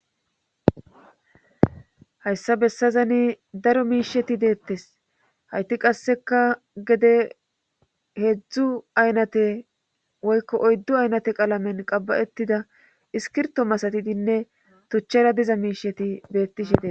hayssa bessazani daro miisheti deettes hayti qasseka gede heedzdzu aynate woykko oyddu aynate qalamen qaba7ettida iskirto masatidinne tuchchera diza miisheti beettishe dee